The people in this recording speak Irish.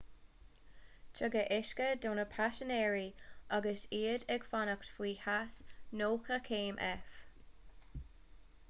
tugadh uisce do na paisinéirí agus iad ag fanacht faoi theas 90 céim f